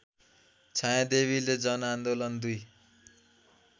छायादेवीले जनआन्दोलन २